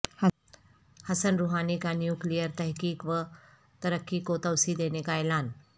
حسن Rouhani کا nuclear تحقیق و ترقی کو توسیع دینے کا اعلان